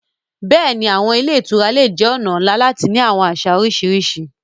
Yes, hotels can be a great way to experience different cultures.